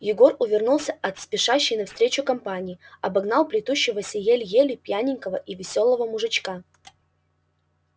егор увернулся от спешащей навстречу компании обогнал плетущегося еле-еле пьяненького и весёлого мужичка